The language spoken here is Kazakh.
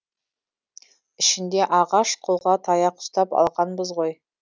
ішінде ағаш қолға таяқ ұстап алғанбыз ғой